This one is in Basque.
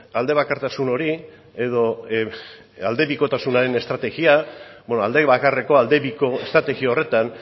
aldebakartasun hori edo aldebikotasunaren estrategia beno aldebakarreko aldebiko estrategia horretan